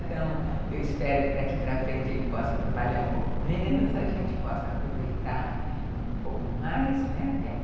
Então, eu espero que daqui para frente ele possa trabalhar um pouco menos, a gente possa aproveitar um pouco mais, né, vi